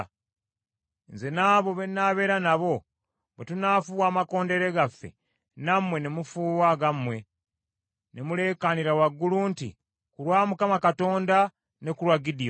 Nze n’abo benaabeera nabo, bwe tunaafuuwa amakondeere gaffe, nammwe ne mufuuwa agammwe, ne muleekaanira waggulu nti, ‘Ku lwa Mukama Katonda ne ku lwa Gidyoni.’ ”